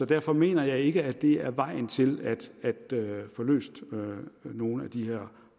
derfor mener jeg ikke det er vejen til at få løst nogen af de her